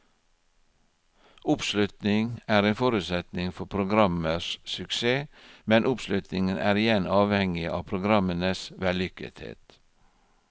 Oppslutning er en forutsetning for programmers suksess, men oppslutningen er igjen avhengig av programmenes vellykkethet.